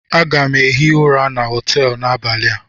Aga m hie ụra na họtelu n'abalị a.